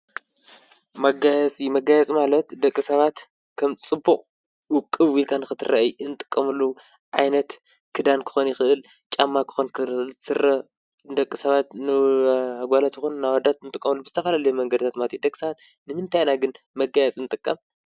መጋየፂ ፦መጋየፂ ማለት ደቂ ሰባት ከም ፅቡቅ ውቅብ ኢልካ ንክትረአ እንጥቀመሉ ዓይነት ክዳን ክኾን ይክእል፤ ጫማ ክኾን ይክእል፤ ስረ ንደቂ ሰባት ንኣጋላት ይኹን ኣወዳት ክንጥቀመሉ ብዝተፈላለዩ መንገድታት ማለት እዩ። ደቂ ሰባት ንምንታይ ኢና ግን መጋየፂ እንጥቀም?